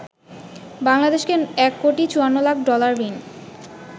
বাংলাদেশকে ১ কোটি ৫৪ লাখ ডলার ঋণ